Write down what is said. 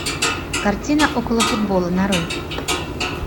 картина около футбола нарой